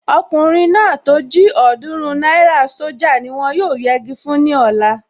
Ọkùnrin náà tó jí ọ̀ọ́dúrún náírà sójà ni wọ́n yóò yegi fún ní ọ̀la